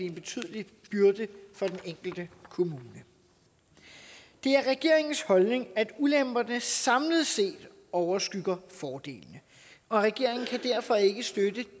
en betydelig byrde for den enkelte kommune det er regeringens holdning at ulemperne samlet set overskygger fordelene og regeringen kan derfor ikke støtte